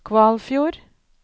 Kvalfjord